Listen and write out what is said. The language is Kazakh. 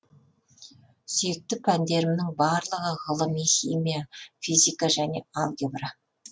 сүйікті пәндерімнің барлығы ғылыми химия физика және алгебра